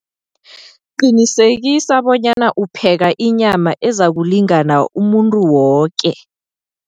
Qinisekisa bonyana upheka inyama ezakulingana umuntu woke.